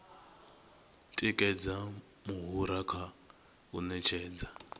tikedza muhura kha u ṅetshedza